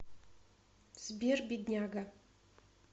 сбер бедняга